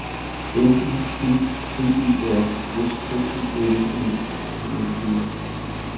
M I D T E R S K I L N I N G